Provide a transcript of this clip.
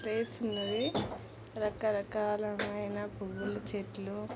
Place లు ఉన్నాయి. రాకరకాలమైన పువ్వులు చెట్లు--